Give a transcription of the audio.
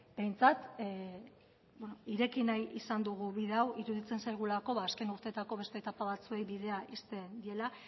behintzat ireki nahi izan dugu bide hau iruditzen zaigulako azken urteetako beste etapa batzuei bidea ixten diela